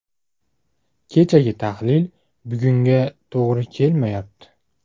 Kechagi tahlil bugunga to‘g‘ri kelmayapti.